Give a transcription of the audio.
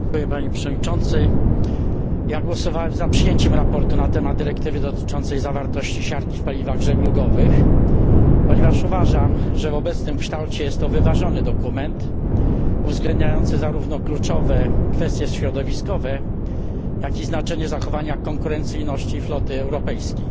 Panie Przewodniczący! Głosowałem za przyjęciem sprawozdania na temat dyrektywy dotyczącej zawartości siarki w paliwach żeglugowych, ponieważ uważam, że w obecnym kształcie jest to wyważony dokument, uwzględniający zarówno kluczowe kwestie środowiskowe, jak i znaczenie zachowania konkurencyjności floty europejskiej.